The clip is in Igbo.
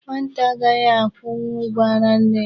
Nwata agaghị akwụnwụ ụgwọ ara nne ya.